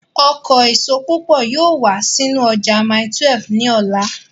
Ọkọ èso púpọ̀ yóò wá sínú ọjà mile 12 ní ọ̀la